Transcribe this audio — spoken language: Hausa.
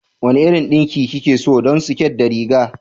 Wane irin yaɗi kike so don siket da riga?